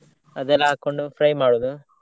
ಅದೆಲ್ಲಾ ಹಾಕೊಂಡು fry ಮಾಡೋದು.